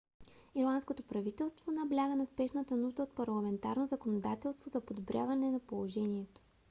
ирландското правителство набляга на спешната нужда от парламентарно законодателство за подобряване на положението